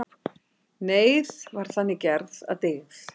Neyð var þannig gerð að dygð.